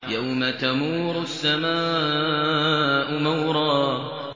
يَوْمَ تَمُورُ السَّمَاءُ مَوْرًا